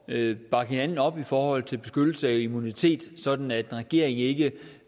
at bakke hinanden op i forhold til beskyttelse af immunitet sådan at en regering ikke